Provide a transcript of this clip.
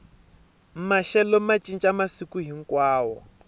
maxelo ma ncinca masiku hinkwawo